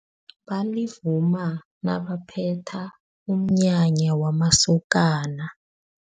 Balivuma nabaphetha umnyanya wamasokana.